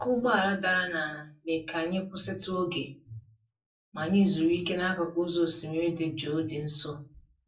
ọkụ́ ụgbọala dara n'ala mee ka anyị kwụsịtụ oge, ma anyị zuru ike n'akụkụ ụzọ osimiri dị jụụ dị nso.